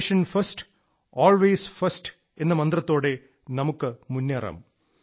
nation first always first എന്ന മന്ത്രത്തോടെ നമുക്ക് മുന്നേറാം